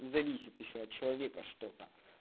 зависит ещё от человека что-то